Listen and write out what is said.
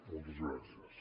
moltes gràcies